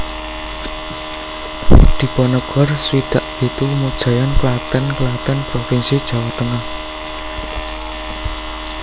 Diponegor swidak pitu Mojayan Klaten Klaten provinsi Jawa Tengah